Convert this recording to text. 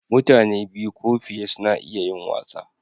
Mutane biyu ko fiye suna iya yin wasa.